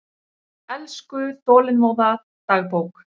Elsku, þolinmóða dagbók!